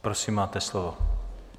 Prosím, máte slovo.